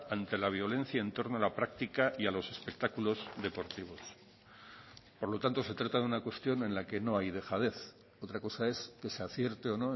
ante la violencia en torno a la práctica y a los espectáculos deportivos por lo tanto se trata de una cuestión en la que no hay dejadez otra cosa es que se acierte o